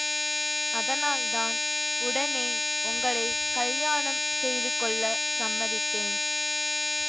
அதனால் தான் உடனே உங்களை கல்யாணம் செய்து கொள்ள சம்மதித்தேன்